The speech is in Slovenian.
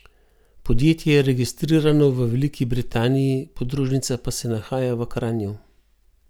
Podjetje je registrirano v Veliki Britaniji, podružnica pa se nahaja v Kranju.